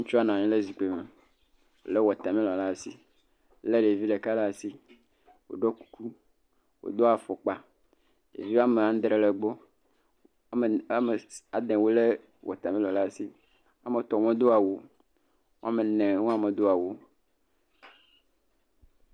Ŋutsua nɔ anyi ɖe zikpui me, lé wɔtamilɔ ɖe asi, lé ɖevi ɖeka ɖe asi, wòɖɔ kuku, wòdo afɔkpa, ɖevi woame adre le egbɔ, … lé wɔtamilɔ ɖe asi, woame etɔ̃ medo awu o, woame enewo hã medo awu o.